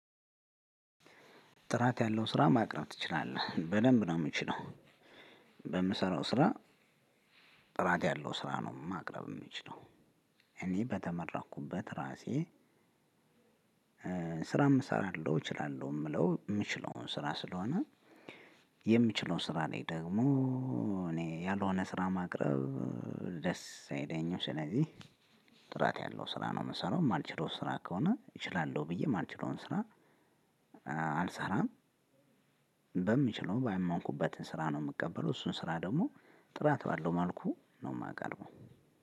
ጥራት ያለው ስራ ማቅረብ ትችላለህ በደንብ ነው የምችለው። በምሰራው ስራ ጥራት ያለው ስራ ነው ማቅረብ የምችለው። እንዲህ በተመረቅኩበት ራሴ። ስራ እሰራለሁ እችላለሁ የምለው የምችለውን ስራ ስለሆነ። የምችለውን ስራ ላይ ደግሞ እኔ ያልሆነ ስራ ማቅረብ ደስ አይለኝም። ስለዚህ ጥራት ያለው ስራ ነው። የምሰራው የማልችለው ስራ ከሆነ እችላለሁ ብዬ የማልችለውን ስራ አልሰራም። በምችለው ባይመንኩበትም ስራ ነው የምቀበለው። እሱን ስራ ደግሞ ጥራት ባለው መልኩ ነው የማቀርበው።